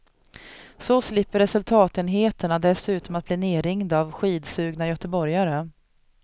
Så slipper resultatenheterna dessutom att bli nerringda av skidsugna göteborgare.